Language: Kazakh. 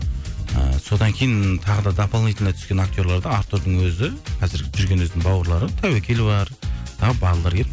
ы содан кейін тағы да домолнительно түскен актерлерді артурдың өзі қазір жүрген өзінің бауырлары тәуекел бар